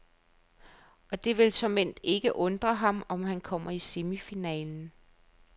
Og det vil såmænd ikke undre ham, om han kommer i semifinalen.